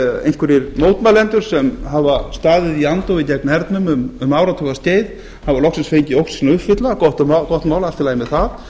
einhverjir mótmælendur sem hafa staðið í andófi gegn hernum um áratuga skeið hafa loksins fengið ósk sína uppfyllta gott mál og allt í lagi með það